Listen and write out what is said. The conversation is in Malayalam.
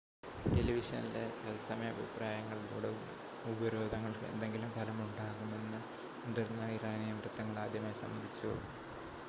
ടെലിവിഷനിലെ തത്സമയ അഭിപ്രായങ്ങളിലൂടെ ഉപരോധങ്ങൾക്ക് എന്തെങ്കിലും ഫലമുണ്ടാകുന്നുണ്ടെന്ന് മുതിർന്ന ഇറാനിയൻ വൃത്തങ്ങൾ ആദ്യമായി സമ്മതിച്ചു